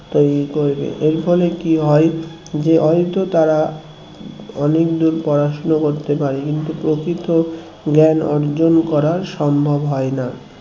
এর ফলে কি হয় হয়তো তারা অনেক দূর পড়াশোনা করতে পারে কিন্তু প্রকৃত জ্ঞান অর্জন করা সম্ভব হয় না